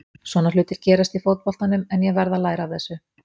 Svona hlutir gerast í fótboltanum en ég verð að læra af þessu.